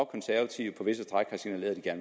konservative på visse stræk har signaleret at